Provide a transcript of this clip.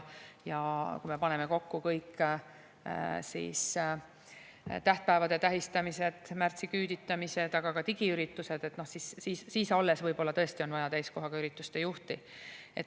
Ja kui me paneme kokku kõik tähtpäevade tähistamised, märtsiküüditamised, aga ka digiüritused, siis võib-olla nüüd tõesti on vaja täiskohaga ürituste juhti.